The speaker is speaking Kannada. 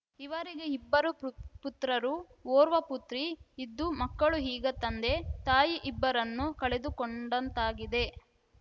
ಇವರಿಗೆ ಇಬ್ಬರು ಪ್ರು ಪುತ್ರರು ಓರ್ವ ಪುತ್ರಿ ಇದ್ದು ಮಕ್ಕಳು ಈಗ ತಂದೆ ತಾಯಿ ಇಬ್ಬರನ್ನೂ ಕಳೆದುಕೊಂಡಂತಾಗಿದೆ